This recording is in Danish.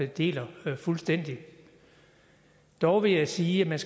deler fuldstændig dog vil jeg sige at man